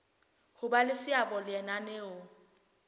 ho ba le seabo lenaneong